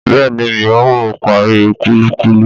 Bẹ́ẹ̀ni miò parí kúlíkúlí